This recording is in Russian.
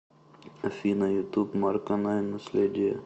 афина ютуб марко найн наследие